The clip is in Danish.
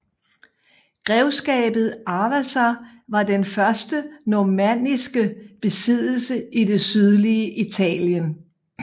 Grevskabet Aversa var den første normanniske besiddelse i det sydlige Italien